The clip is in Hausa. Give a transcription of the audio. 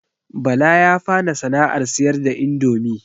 Bala ya fara sana'ar siyar da indomi